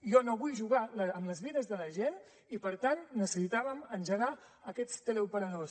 jo no vull jugar amb les vides de la gent i per tant necessitàvem engegar aquests teleoperadors